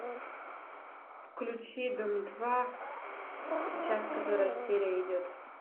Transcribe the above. включи дом два сейчас которая серия идет